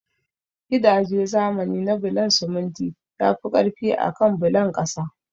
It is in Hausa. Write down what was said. Gidaje zamani na bulon siminti yafi ƙarfi akan na bulon ƙasa